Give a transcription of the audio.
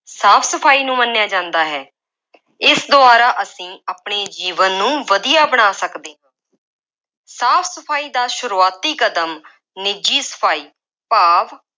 ਸਾਫ ਸਫਾਈ ਨੂੰ ਮੰਨਿਆ ਜਾਂਦਾ ਹੈ। ਇਸ ਦੁਆਰਾ ਅਸੀਂ ਆਪਣੇ ਜੀਵਨ ਨੂੰ ਵਧੀਆ ਬਣਾ ਸਕਦੇ ਹਾਂ। ਸਾਫ ਸਫਾਈ ਦਾ ਸ਼ੁਰੂਆਤੀ ਕਦਮ ਨਿੱਜੀ ਸਫਾਈ ਭਾਵ